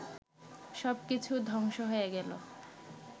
সব কিছু ধ্বংস হয়ে গেল